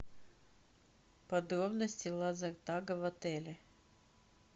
подробности лазертага в отеле